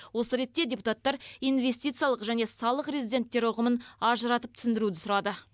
осы ретте депутаттар инвестициялық және салық резиденттері ұғымын ажыратып түсіндіруді сұрады